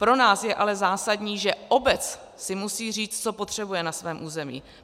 Pro nás je ale zásadní, že obec si musí říct, co potřebuje na svém území.